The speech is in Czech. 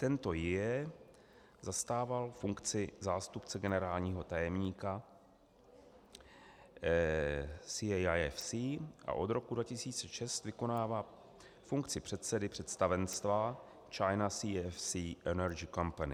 Tento Jie zastával funkci zástupce generálního tajemníka CAIFC a od roku 2006 vykonává funkci předsedy představenstva China CEFC Energy Company.